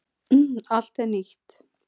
Allt er nýtt.